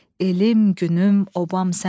Elim, günüm, obam sənsən.